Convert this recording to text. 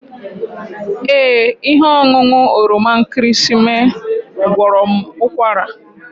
Ee, ihe ọṅụṅụ oroma nkịrịsịmee gwọrọ m ụkwara